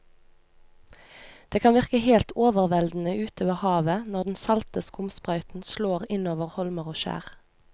Det kan virke helt overveldende ute ved havet når den salte skumsprøyten slår innover holmer og skjær.